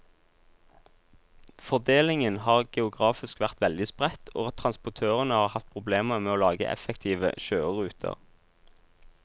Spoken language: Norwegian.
Fordelingen har geografisk vært veldig spredt, og transportørene har hatt problemer med å lage effektive kjøreruter.